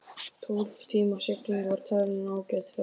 Tólf tíma sigling var talin ágæt ferð.